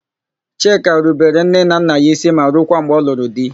Chika rubere nne na nna ya ísí ma rukwa mgbe ọ lụrụ di.